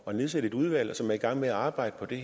at nedsætte et udvalg som er i gang med at arbejde på det